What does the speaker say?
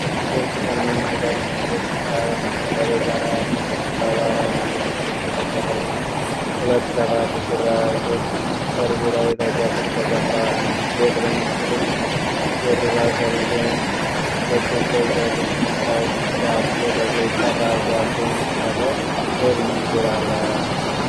ብርቱካንማ ቀለም ያለው ቂጣ በትልቅ ሰሌዳ ላይ አለ። ቂጣው በአራት ማዕዘን ቅርጽ የተቆረጠ ነው። ሁለት ሰፋፊ ቁራጮች ጠርዝ ላይ ተቆርጠዋል። አንዲት ሴት በነጭ ልብስ ደርባ ሰሌዳውን በእጆቿ ይዛለች። ቂጣው ደቦ ተብሎ ይጠራል። ደቦ የሚሠራው ለየትኞቹ የባህል በዓላት ነው?